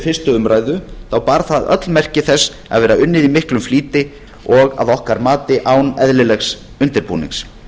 fyrstu umræðu bar það öll merki þess að vera unnið í miklum flýti og að okkar mati án eðlilegs undirbúnings